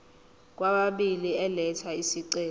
kwababili elatha isicelo